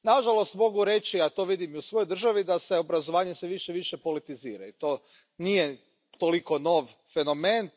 Nažalost, mogu reći, a to vidim i u svojoj državi, da se obrazovanje sve više i više politizira i to nije toliko nov fenomen.